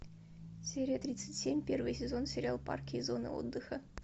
серия тридцать семь первый сезон сериал парки и зоны отдыха